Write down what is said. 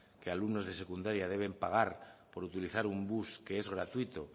que alumnos de secundaria deben pagar por utilizar un bus que es gratuito